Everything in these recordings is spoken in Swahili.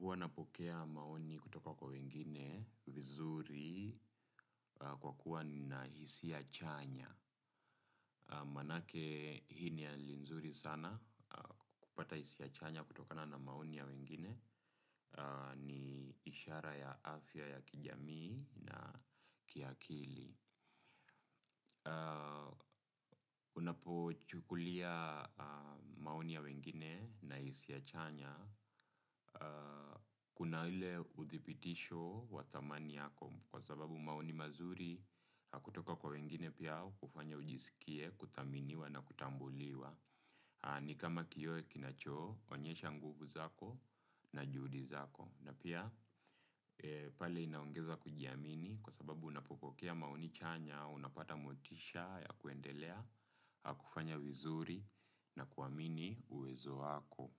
Huwa napokea maoni kutoka kwa wengine vizuri kwa kuwa na hisia chanya. Maanake, hii ni hali nzuri sana, kupata hisia chanya kutokana na maoni ya wengine ni ishara ya afya ya kijamii na kiakili. Unapochukulia maoni ya wengine na hisia chanya kuna ile uthibitisho wa thamani yako, kwa sababu maoni mazuri yakitoka kwa wengine pia hufanya ujisikie kuthaminiwa na kutambuliwa. Ni kama kioo kinachoonyesha nguvu zako na juhudi zako. Na pia pale inaongeza kujiamini kwa sababu unapopokea maoni chanya, unapata motisha ya kuendelea, kufanya vizuri na kuamini uwezo wako.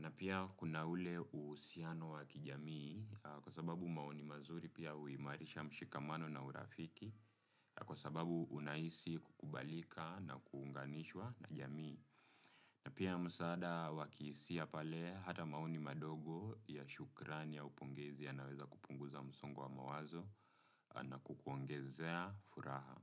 Na pia kuna ule uhusiano wa kijamii kwa sababu maoni mazuri pia huimarisha mshikamano na urafiki kwa sababu unahisi kukubalika na kuunganishwa na jamii. Pia msaada wa kihisia, pale hata maoni madogo ya shukrani au pongezi yanaweza kupunguza msongo wa mawazo na kukuongezea furaha.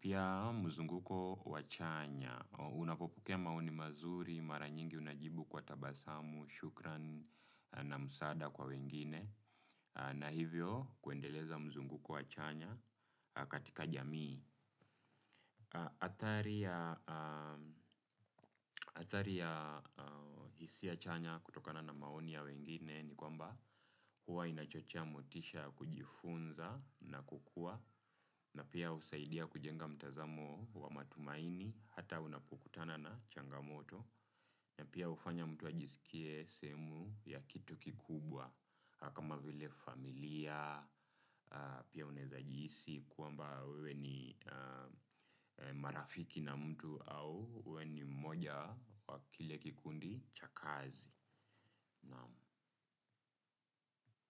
Pia mzunguko wa chanya, unapopokea maoni mazuri mara nyingi unajibu kwa tabasamu, shukrani na msaada kwa wengine, na hivyo kuendeleza mzunguko wa chanya katika jamii. Athari ya hisia chanya kutokana na maoni ya wengine ni kwamba huwa inachochea motisha ya kujifunza na kukua. Na pia husaidia kujenga mtazamo wa matumaini hata unapokutana na changamoto. Na pia hufanya mtu ajisikie sehemu ya kitu kikubwa kama vile familia, pia unaweza kuhisi kwamba wewe ni marafiki na mtu au wewe ni mmoja wa kile kikundi cha kazi.